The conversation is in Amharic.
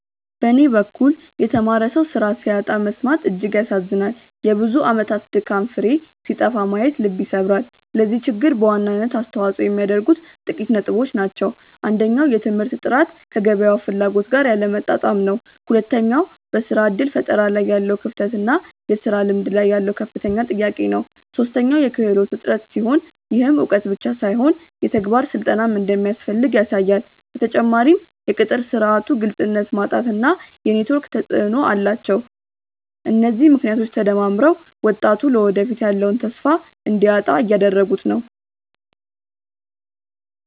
በኔ በኩል የተማረ ሰው ስራ ሲያጣ መሰማት እጅግ ያሳዝናል የብዙ አመታት ድካም ፍሬ ሲጠፋ ማየት ልብ ይሰብራል። ለዚህ ችግር በዋናነት አስተዋጽኦ የሚያደርጉት ጥቂት ነጥቦች ናቸው። አንደኛው የትምህርት ጥራት ከገበያው ፍላጎት ጋር ያለመጣጣም ነው። ሁለተኛው በስራ እድል ፈጠራ ላይ ያለው ክፍተት እና የስራ ልምድ ላይ ያለው ከፍተኛ ጥያቄ ነው። ሶስተኛው የክህሎት እጥረት ሲሆን፣ ይህም እውቀት ብቻ ሳይሆን የተግባር ስልጠናም እንደሚያስፈልግ ያሳያል። በተጨማሪም የቅጥር ስርዓቱ ግልጽነት ማጣት እና የኔትወርክ ተፅእኖ ተፅእኖ አላቸው። እነዚህ ምክንያቶች ተደማምረው ወጣቱ ለወደፊቱ ያለውን ተስፋ እንዲያጣ እያደረጉት ነው።